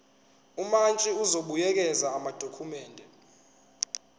umantshi uzobuyekeza amadokhumende